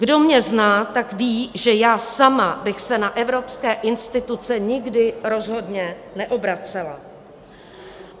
Kdo mě zná, tak ví, že já sama bych se na evropské instituce nikdy rozhodně neobracela.